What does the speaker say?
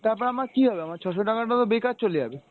তারপর আমার কী হবে আমার ছয়শ টাকাটা তো বেকার চলে যাবে।